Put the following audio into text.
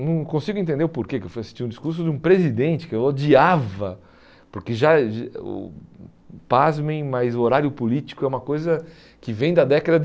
Não consigo entender o porquê que eu fui assistir o discurso de um presidente que eu odiava, porque, já o pasmem, mas o horário político é uma coisa que vem da década